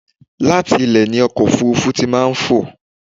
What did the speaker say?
Láti ilẹ̀ ni ọkọ̀ òfúrúfú tí máa ń fò.